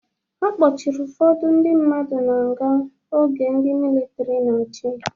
A kpọchiri ụfọdụ ndị mmadụ na nga oge ndị militri na-achị